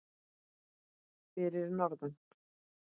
Fyrir norðan.